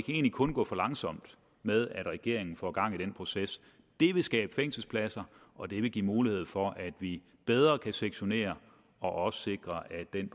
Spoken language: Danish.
egentlig kun gå for langsomt med at regeringen får gang i den proces det vil skabe fængselspladser og det vil give mulighed for at vi bedre kan sektionere og også sikre at den